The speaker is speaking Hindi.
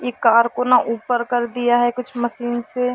इ कार को न ऊपर कर दिया है कुछ मशीन से।